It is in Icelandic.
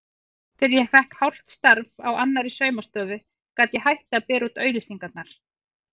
Þegar ég fékk hálft starf á annarri saumastofu gat ég hætt að bera út auglýsingarnar.